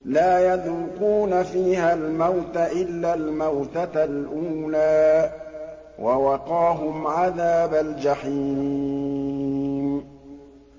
لَا يَذُوقُونَ فِيهَا الْمَوْتَ إِلَّا الْمَوْتَةَ الْأُولَىٰ ۖ وَوَقَاهُمْ عَذَابَ الْجَحِيمِ